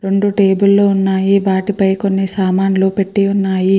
రెండు టేబుల్ లో ఉన్నాయి. వాటిపై కొన్ని సామాన్లు పెట్టి ఉన్నాయి.